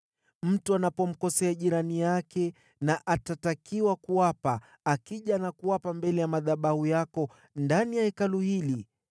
“Mtu anapomkosea jirani yake na akatakiwa kuapa, akija na kuapa mbele ya madhabahu yako ndani ya Hekalu hili,